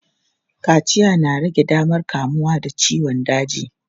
Kaciya na rage damar kamuwa da ciyon daji.